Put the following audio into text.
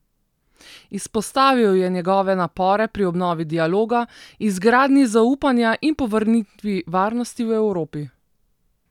Izpostavil je njegove napore pri obnovi dialoga, izgradnji zaupanja in povrnitvi varnosti v Evropi.